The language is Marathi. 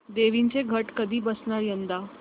देवींचे घट कधी बसणार यंदा